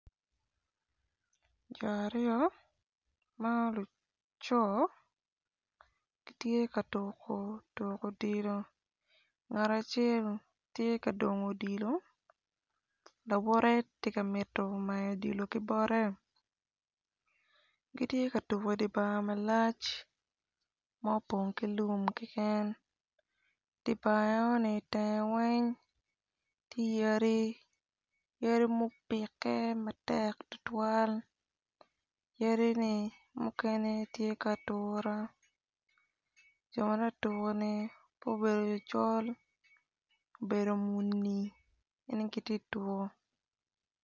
Jo aryo ma luco gitye ka tuku tuku odilo ngat acel tye ka dongo odilo lawote ti ka mito mayo odilo ki bote gitye ka tuko idi bar malac ma opong ki lum kiken dibar eoni tenge weny ti yadi yadi mupike matek tutwal yadi-ni mukene ti ka atura jo ta tuku-ni po obedo ocol obedo muni ene giti tuku.